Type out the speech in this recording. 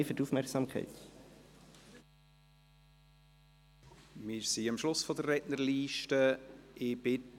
Wir sind am Schluss der Rednerliste angelangt.